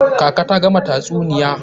Kaka ta gama tatsuniya.